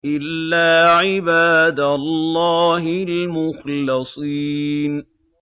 إِلَّا عِبَادَ اللَّهِ الْمُخْلَصِينَ